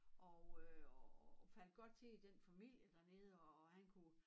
Og øh og faldt godt til i den familie dernede og han kunne